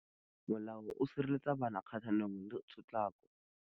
Molao o sireletsa bana kgatlhanong le.